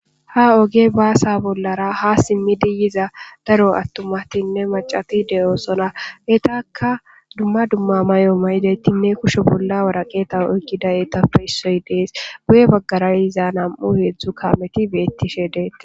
ha oge baasa bollara ha simmidi yiza daro attumatinne macati de7oosona etakka dumma dumma mayo maydeettinne kushe bolla waraqeeta oykkida eetappe issoy dees guye baggarayiza nam7u heedzdzu kameti beettishe deetti